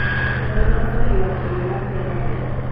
Kendo loso ywak e yo ma kelo ber.